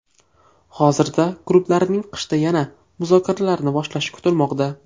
Hozirda klublarning qishda yana muzokaralarni boshlashi kutilmoqda.